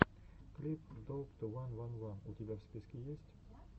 клип доуп ту ван ван ван у тебя в списке есть